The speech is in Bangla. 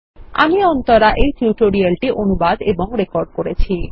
আমি অন্তরা এই টিউটোরিয়াল টি অনুবাদ এবং রেকর্ড করেছি